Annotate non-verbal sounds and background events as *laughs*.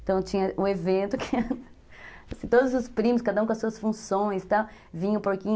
Então tinha um evento que... *laughs* Todos os primos, cada um com as suas funções, tal, vinha o porquinho...